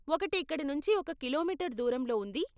ఒకటి ఇక్కడ నుంచి ఒక కిలోమీటరు దూరంలో ఉంది.